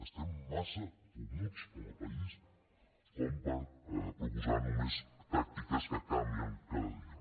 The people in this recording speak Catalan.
estem massa fumuts com a país com per proposar només tàctiques que canvien cada dia